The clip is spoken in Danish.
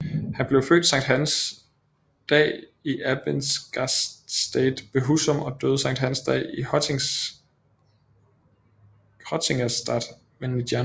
Han blev født Sankt Hans dag i Abbingastate ved Huzum og døde Sankt Hans dag i Hottingastate ved Nijlân